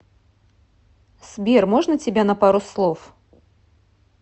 сбер можно тебя на пару слов